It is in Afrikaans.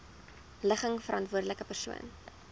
ligging verantwoordelike persoon